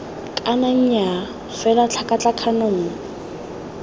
kana nnyaa fela tlhakatlhakano nngwe